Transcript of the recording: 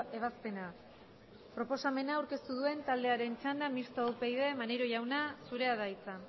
ebazpena proposamena aurkeztu duen taldearen txanda mistoa upyd maneiro jauna zurea da hitza